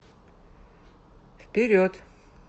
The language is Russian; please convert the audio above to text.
вперед